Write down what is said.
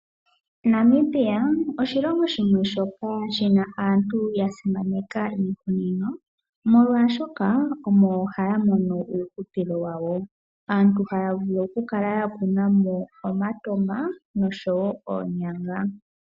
Namibia oshilongo shimwe shoka shi na aantu ya simaneka iimeno molwaashoka omo haya mono uuhupilo wawo. Aantu haya vulu oku kala ya kuna mo omatama nosho wo oonyanga.